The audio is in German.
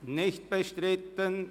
– Es ist nicht bestritten.